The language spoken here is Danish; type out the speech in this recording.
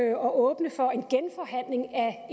at åbne for en genforhandling af